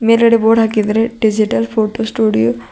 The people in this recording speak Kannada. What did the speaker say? ಮೇಲ್ಗಡೆ ಬೋರ್ಡ್ ಹಾಕಿದ್ದಾರೆ ಡಿಜಿಟಲ್ ಫೋಟೋ ಸ್ಟುಡಿಯೋ .